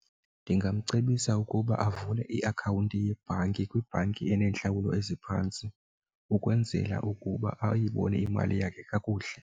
Ndingamcebisa ukuba avule iakhawunti yebhanki kwibhanki eneentlawulo eziphantsi ukwenzela ukuba ayibone imali yakhe kakuhle.